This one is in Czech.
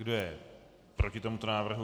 Kdo je proti tomuto návrhu.